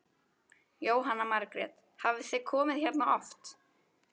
Jóhanna Margrét: Hafið þið komið hérna oft?